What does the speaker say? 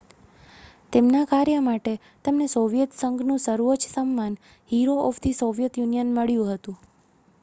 "તેમના કાર્ય માટે તેમને સોવિયેત સંઘનું સર્વોચ્ચ સન્માન "hero of the Soviet Union" મળ્યું હતું.